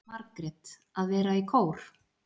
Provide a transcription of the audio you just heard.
Margrét: Að vera í kór.